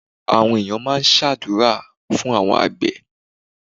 Àwọn ènìyàn máa ń ṣàdúúrà fún àwọn àgbẹ̀